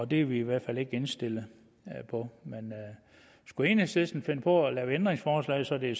det er vi i hvert fald ikke indstillet på men skulle enhedslisten finde på at lave ændringsforslag så det